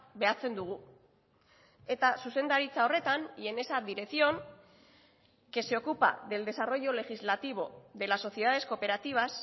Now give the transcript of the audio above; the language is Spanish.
behatzen dugu eta zuzendaritza horretan y en esa dirección que se ocupa del desarrollo legislativo de las sociedades cooperativas